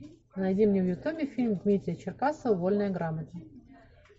найди мне в ютубе фильм дмитрия черкасова вольная грамота